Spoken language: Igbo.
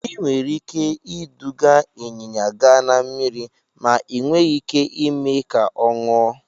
Ị nwere ike iduga ịnyịnya gaa na mmiri, ma ị nweghị ike ime ka ọ ṅụọ.